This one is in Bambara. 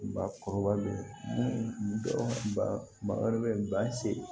Ba kɔrɔbalen ba wɛrɛ bɛ yen ba se